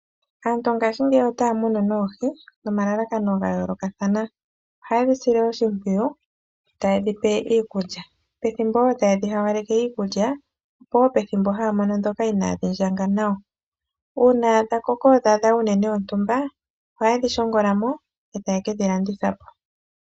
Aantu ngaashingeyi otaya munu noohi nomalakano ga yoolokathana. Ohaye dhi sile oshimpwiyu taye dhi pe iikulya. Pethimbo wo taye dhi hawaleke iikulya, opo wo pethimbo haya mono ndhoka inaadhi ndjanga nawa. Uuna dha koko dha adha uunene wontumba, ohaye dhi shongola mo e taye ke dhi landitha po.